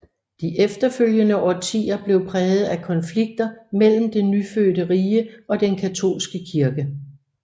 De efterfølgende årtier blev præget af konflikter mellem det nyfødte rige og den katolske kirke